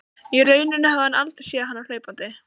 Í rauninni hafði hann aldrei séð hana hlaupandi.